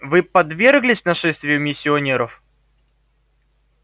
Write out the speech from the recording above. вы подверглись нашествию миссионеров